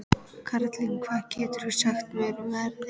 Karlinna, hvað geturðu sagt mér um veðrið?